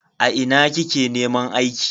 A ina kike neman aiki?